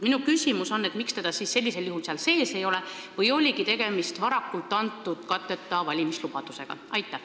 Miks seda siis sellisel juhul seal sees ei ole või oligi tegemist varakult antud katteta valimislubadusega?